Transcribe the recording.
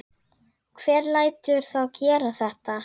Hver lætur þá gera þetta?